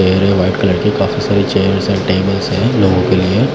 white colour की काफी सारे चेयर्स है टेबल्स हैं लोगों के लिए--